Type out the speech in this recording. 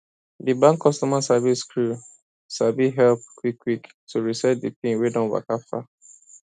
di bank customer service crew sabi help quickquick to reset di pin wey don waka far